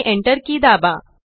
आणि Enter key दाबा